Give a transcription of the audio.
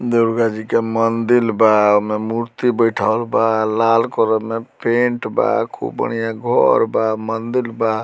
दुर्गा जी के मंदिर बा ओय मे मूर्ति बइठावल बा लाल कलर में पेंट बा खूब बढ़िया घर बा मंदिर बा।